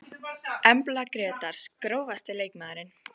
Embla Grétars Grófasti leikmaðurinn?